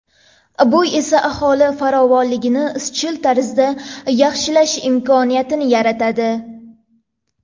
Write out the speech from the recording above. Bu esa aholi farovonligini izchil tarzda yaxshilash imkoniyatini yaratadi.